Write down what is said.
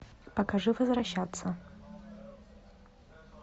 покажи возвращаться